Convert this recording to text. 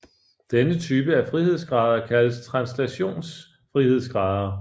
Denne type af frihedsgrader kaldes translationsfrihedsgrader